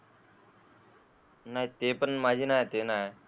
नाय ते पण माझे नाय ते नाय.